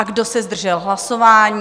A kdo se zdržel hlasování?